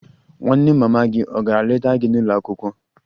Nwanne mama gị ọ̀ gara leta gị n'ụlọ akwụkwọ?